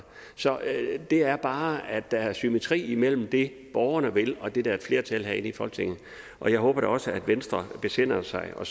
så det er bare at der er symmetri imellem det borgerne vil og det der er flertal for herinde i folketinget og jeg håber da også at venstre besinder sig og